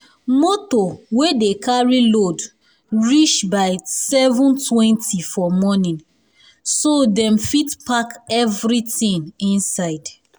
moto wey dey carry load reach by seven twenty for morning so dem fit pack everything inside